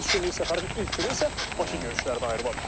Üç günlük səfərin ilk günü isə Başı görüşlərinə ayrılıb.